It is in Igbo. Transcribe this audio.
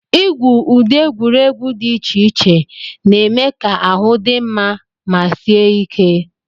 Igwu ụdị egwuregwu dị iche iche na-eme ka ahụ dị mma ma sie ike.